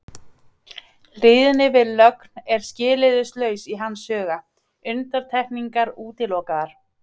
Hlýðni við lögin var skilyrðislaus í hans huga, undantekningar útilokaðar.